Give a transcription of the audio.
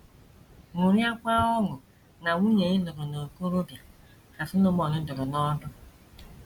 “ Ṅụrịakwa ọṅụ na nwunye ị lụrụ n’okorobia, ” ka Solomọn dụrụ n’ọdụ.